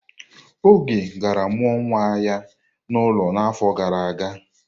Oge gara mụọ nwa ya n'ụlọ n'afọ gara aga?